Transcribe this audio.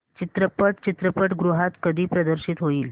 चित्रपट चित्रपटगृहात कधी प्रदर्शित होईल